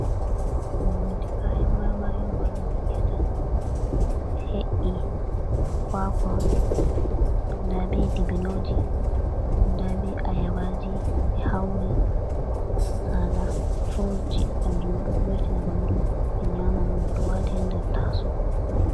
Do hunde kayan marmari on banano yiataa, da be hei kwakwo dabe dibinoji da be ayabaji be hauri hala fruit ji kanjuma do voitina bandu be nyaman on bedo wati hader taso.